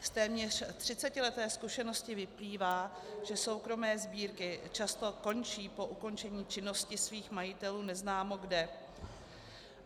Z téměř třicetileté zkušenosti vyplývá, že soukromé sbírky často končí po ukončení činnosti svých majitelů neznámo kde.